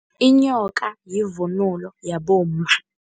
Inyoka yivunulo yabomma.